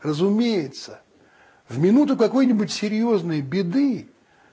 разумеется в минуту какой-нибудь серьёзной беды